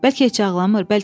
Bəlkə heç ağlamır?